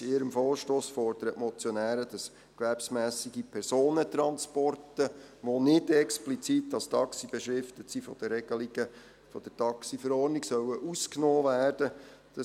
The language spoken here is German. In ihrem Vorstoss fordern die Motionäre, dass gewerbsmässige Personentransporte, die nicht explizit als Taxi beschriftet sind, von den Regelungen der TaxiV ausgenommen werden sollen.